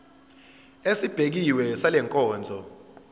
esibekiwe sale nkonzo